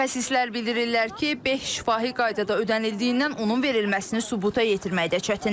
Mütəxəssislər bildirirlər ki, beh şifahi qaydada ödənildiyindən onun verilməsini sübuta yetirməkdə çətindir.